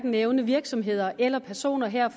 nævne virksomheder eller personer her